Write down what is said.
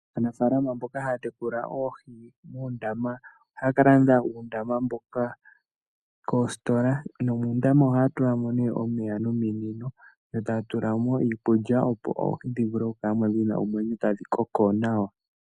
Aanafaalama mboka haya tekula oohi muundama, ohaya ka landa uundama mboka koositola, nomuundama oha ya tulamo nee omeya nominino yo taya tulamo iikulya opo oohi dhi vule oku kalamo dhina omwenyo tadhi koko nawa.